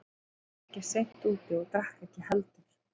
Ég var ekki seint úti og drakk ekki heldur.